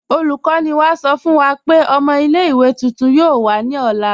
Olùkọ̀nì wá sọ̀ fún wà pé ọ̀mọ̀ ilẹ̀-ìwé tuntun yoo wà ní ọ̀lá.